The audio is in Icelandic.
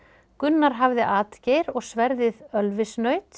Gunnar hafði atgeir og sverðið